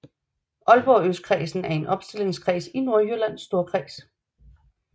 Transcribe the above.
Aalborg Østkredsen er en opstillingskreds i Nordjyllands Storkreds